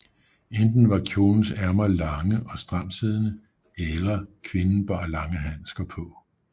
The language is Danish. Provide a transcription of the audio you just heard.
Enten var kjolens ærmer lange og stramtsiddende eller man kvinden bar lange handsker på